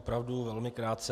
Opravdu velmi krátce.